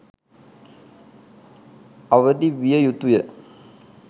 අවදි විය යුතුය.